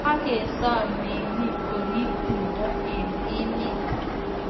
kakesom meng'iik koriib timndo eng emet